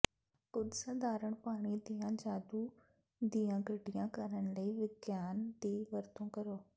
ਕੁਝ ਸਾਧਾਰਣ ਪਾਣੀ ਦੀਆਂ ਜਾਦੂ ਦੀਆਂ ਗੱਡੀਆਂ ਕਰਨ ਲਈ ਵਿਗਿਆਨ ਦੀ ਵਰਤੋਂ ਕਰੋ